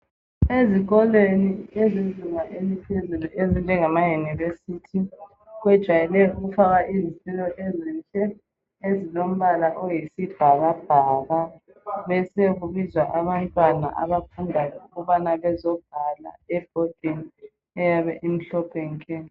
Ezikolweni ezezinga eliphezulu ezinjengamaYunivesi kwejayelwe ukufakwa izitulo ezinhle ezilombala oyisibhakabhaka besekubizwa abantwana abafundayo ukubana bezobhala ebhodini eyabe imhlophe nke.